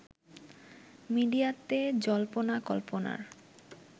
মিডিয়াতে জল্পনা কল্পনার